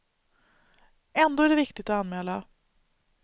Ändå är det viktigt att anmäla.